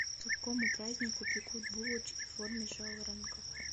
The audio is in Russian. к какому празднику пекут булочки в форме жаворонков